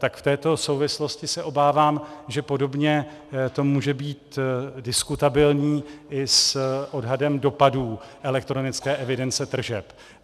Tak v této souvislosti se obávám, že podobně to může být diskutabilní i s odhadem dopadů elektronické evidence tržeb.